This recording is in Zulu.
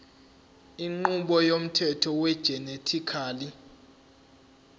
inqubo yomthetho wegenetically